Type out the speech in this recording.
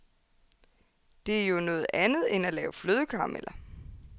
Det er jo noget andet end at lave flødekarameller.